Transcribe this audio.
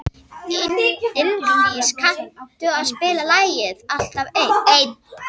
Ingdís, kanntu að spila lagið „Alltaf einn“?